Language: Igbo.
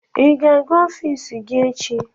Ị ga-aga ọfiisi gị echi?